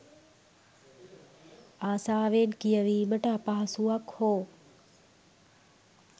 ආසාවෙන් කියවීමට අපහසුවක් හෝ